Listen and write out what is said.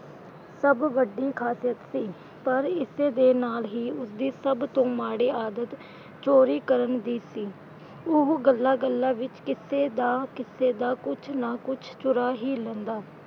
ਸਭ ਵੱਡੀ ਖ਼ਾਸੀਅਤ ਸੀ। ਪਰ ਇਸਦੇ ਨਾਲ ਹੀ ਉਸਦੀ ਸਭ ਤੋਂ ਮਾੜੀ ਆਦਤ ਚੋਰੀ ਕਰਨ ਦੀ ਸੀ, ਉਹ ਗੱਲਾਂ ਗੱਲਾਂ ਵਿਚ ਕਿਸੇ ਦਾ ਕਿਸੇ ਕੁਝ ਨਾ ਕੁਝ ਚੁਰਾ ਹੀ ਲੈਂਦਾ।